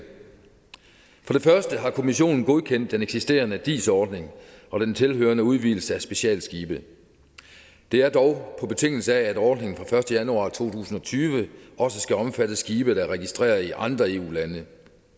for det første har kommissionen godkendt den eksisterende dis ordning og den tilhørende udvidelse af specialskibe det er dog på betingelse af at ordningen fra første januar to tusind og tyve også skal omfatte skibe der er registreret i andre eu lande